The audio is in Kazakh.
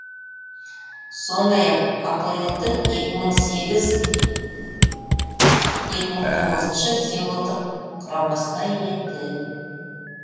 сондай ақ апл дың екі мың сегіз екі мың тоғыз символдық құрамасына енді